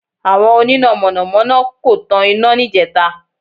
Àwọn oníná Mọ̀nà mọ́ná kò tan iná níjẹta